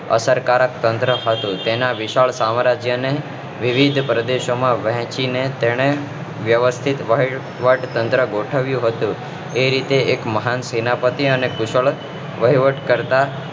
અસરકારક તંત્ર હતું તેના વિશાળ સામ્રાજ્ય ને વિવિધ પ્રદેશોમાં વહેચી ને તેને પછી વહીવટ તંત્ર ગોઠવ્યું હતું એ રીતે એક મહાન સેનાપતિ અને ખુબ જ સરસ વહીવટકર્તા